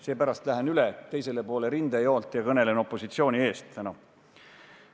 Seepärast lähen üle teisele poole rindejoont ja kõnelen opositsiooni eest täna.